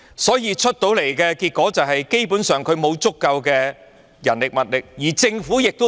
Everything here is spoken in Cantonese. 所以，得出的結果是，港鐵公司基本上沒有足夠的人力和物力，而政府也沒有。